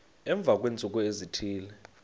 emva kweentsuku ezithile